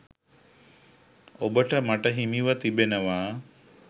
ඔබට මට හිමිව තිබෙනවා.